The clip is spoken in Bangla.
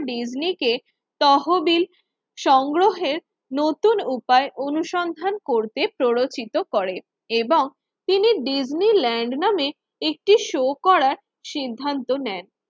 ডিজনিকে তহবিল সংগ্রহের নতুন উপায় অনুসন্ধান করতে প্ররোচিত করে এবং তিনি ডিজনি ল্যান্ড নামে একটি শো করার সিদ্ধান্ত নেন।